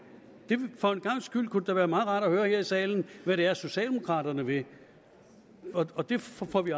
for en gangs skyld kunne det da være meget rart at høre her i salen hvad det er socialdemokraterne vil og det får vi